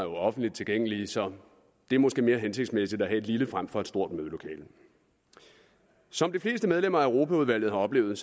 offentligt tilgængelige så det er måske mere hensigtsmæssigt at have et lille frem for et stort mødelokale som de fleste medlemmer af europaudvalget har oplevet